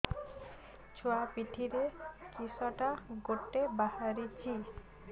ଛୁଆ ପିଠିରେ କିଶଟା ଗୋଟେ ବାହାରିଛି